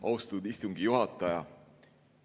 Austatud istungi juhataja!